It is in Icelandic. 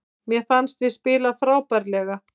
Mér fannst við spila frábærlega